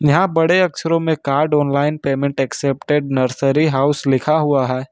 यहां बड़े अक्षरों में card online payment accepted nursery house लिखा हुआ हैं।